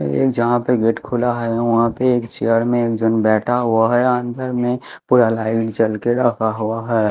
ए जहां पे गेट खुला है वहां पे एक चेयर में एक जन बैठा हुआ है अंदर में पूरा लाइट जल के रखा हुआ है।